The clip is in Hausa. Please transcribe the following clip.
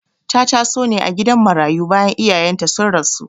Ta taso ne a gidan marayu bayan iyayenta sun rasu..